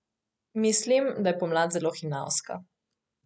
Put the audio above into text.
Mislim, da je pomlad zelo hinavska.